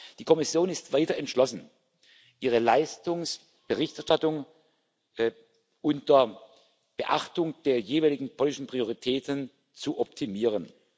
Die Kommission ist weiter entschlossen, ihre Leistungsberichterstattung unter Beachtung der jeweiligen politischen Prioritäten zu optimieren.